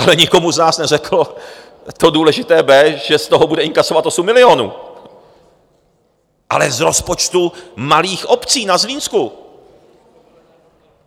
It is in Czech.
Ale nikomu z nás neřekl to důležité B, že z toho bude inkasovat 8 milionů, ale z rozpočtu malých obcí na Zlínsku.